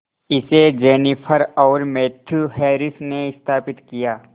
इसे जेनिफर और Matthew Harris ने स्थापित किया